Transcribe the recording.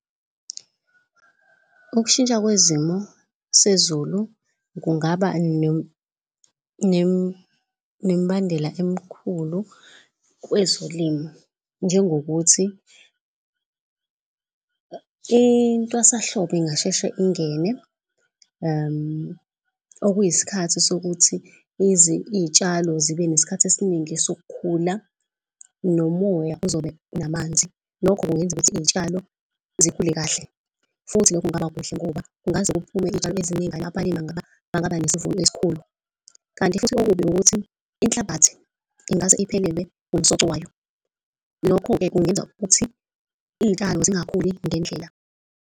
Ukushintsha kwezimo sezulu kungaba nembandela emkhulu kwezolimo njengokuthi intwasahlobo ingasheshe ingene. Okuyiskhathi sokuthi iy'tshalo zibeneskhathi esiningi sokukhula nomoya. Uzobe namanzi lokho kungenza ukuthi iy'tshalo zikhule kahle futhi lokho kungaba kuhle ngoba kungaze kuphume izitshalo eziningi enkampanini bangaba nesivuno esikhulu. Kanti futhi okubi ukuthi inhlabathi ingase iphelelwe umsoco wayo. Lokho-ke kungenza ukuthi iy'tshalo zingakhuli ngendlela.